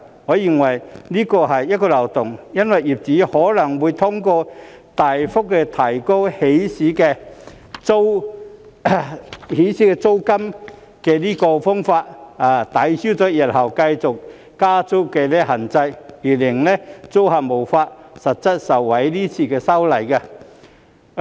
我認為這是漏洞，因為業主可能會通過大幅提高起始租金的方法，抵銷日後繼續加租的限制，而令租客無法實際受惠於今次的修例。